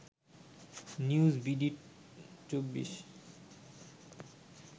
news BD ২৪